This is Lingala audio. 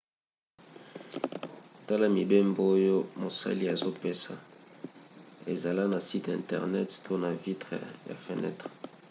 tala mibembo oyo mosali azopesa ezala na site internet to na vitre ya fenetre